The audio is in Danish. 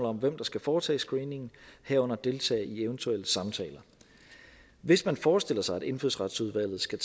om hvem der skal foretage screeningen herunder deltage i eventuelle samtaler hvis man forestiller sig at indfødsretsudvalget skal